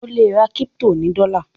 o le rà crypto ní dola